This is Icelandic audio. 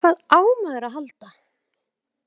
Hvað á maður að halda?